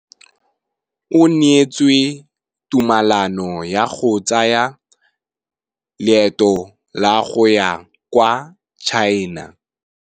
O neetswe tumalanô ya go tsaya loetô la go ya kwa China.